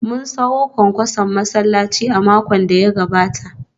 Mun sayo kwankwason masallaci a makon da ya gabata